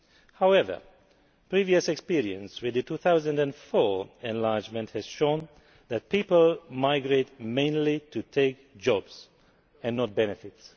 However, previous experience with the 2004 enlargement has shown that people migrate mainly to take jobs and not benefits.